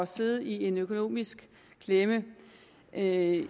sidde i en økonomisk klemme vi er i